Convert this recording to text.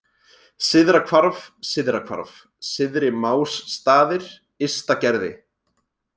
Syðra Hvarf, Syðra-Hvarf, Syðri-Másstaðir, Ysta-Gerði